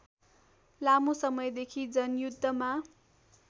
लामो समयदेखि जनयुद्धमा